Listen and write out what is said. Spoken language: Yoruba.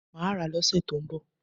Mà á rà á lọ́ sẹ tó ń bọ̀